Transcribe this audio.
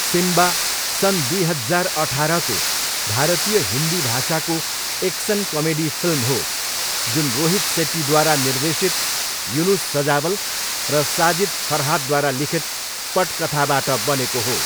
Simba सन् दुई हजार अठाह्रको भारतीय हिन्दी भाषाको एक्सन कमेडी फिल्म हो जुन रोहित सेट्टीद्वारा निर्देशित युनुस सजावल र साजिद फरहादद्वारा लिखित पठकथाबाट बनेको हो।